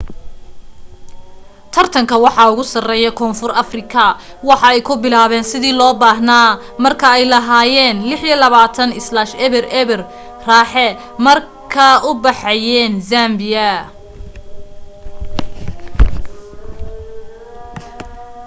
tartanka waxaa ugu sareye koonfur afrika waxa ay ku bilaabeyn sidii loo baahna marka ay lahaayen 26 - 00 raaxa markee u baxaayen zambia